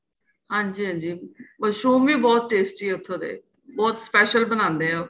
ਹਾਂਜੀ ਹਾਂਜੀ ਮਸ਼ਰੂਮ ਵੀ ਬਹੁਤ tasty ਏ ਉਥੋ ਦੇ ਬਹੁਤ special ਬਣਾਦੇ ਏ ਉਹ